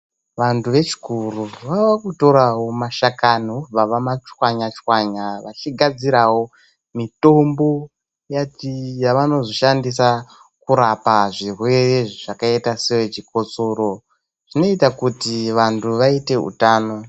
Vanhu vechikuru vakutirawo mashakani vobva vomatswanya tswanya vachigadzirawo mitombo yavanozoshandisa kurapa zvirwere zvakaita sechikosoro zvinoite kuti vanhu vaite utano.